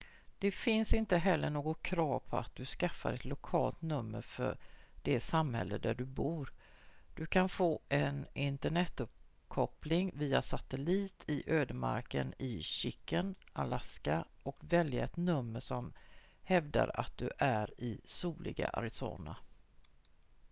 det finns inte heller något krav på att du skaffar ett lokalt nummer från det samhälle där du bor du kan få en internetuppkoppling via satellit i ödemarken i chicken alaska och välja ett nummer som hävdar att du är i soliga arizona